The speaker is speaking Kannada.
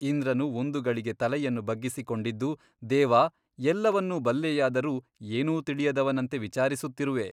ಇಂದ್ರನು ಒಂದು ಗಳಿಗೆ ತಲೆಯನ್ನು ಬಗ್ಗಿಸಿಕೊಂಡಿದ್ದು ದೇವಾ ಎಲ್ಲವನ್ನೂ ಬಲ್ಲೆಯಾದರೂ ಏನೂ ತಿಳಿಯದವನಂತೆ ವಿಚಾರಿಸುತ್ತಿರುವೆ.